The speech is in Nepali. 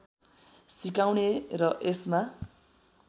सिकाउने र यसमा